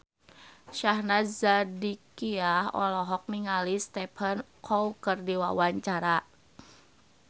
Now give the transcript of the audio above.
Syahnaz Sadiqah olohok ningali Stephen Chow keur diwawancara